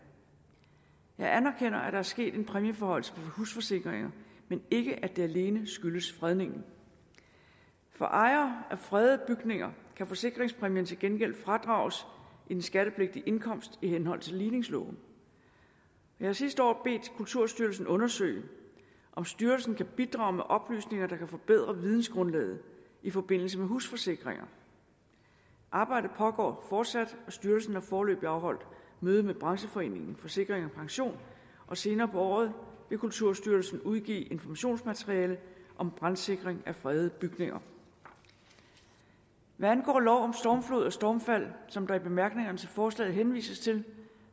jeg anerkender at der er sket en præmieforhøjelse på husforsikringer men ikke at det alene skyldes fredningen for ejere af fredede bygninger kan forsikringspræmierne til gengæld fradrages i den skattepligtige indkomst i henhold til ligningsloven jeg har sidste år bedt kulturstyrelsen undersøge om styrelsen kan bidrage med oplysninger der kan forbedre vidensgrundlaget i forbindelse med husforsikringer arbejdet pågår fortsat og styrelsen har foreløbig afholdt møde med brancheforeningen forsikring pension og senere på året vil kulturstyrelsen udgive informationsmateriale om brandsikring af fredede bygninger hvad angår lov om stormflod og stormfald som der i bemærkningerne til forslaget henvises til